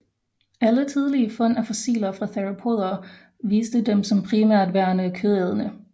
Alle tidlige fund af fossiler fra theropoder viste dem som primært værende kødædende